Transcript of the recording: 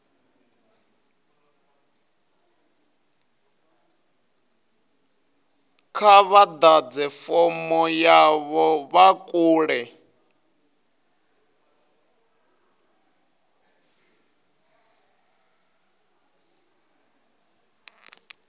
kha vha ḓadze fomo yavho online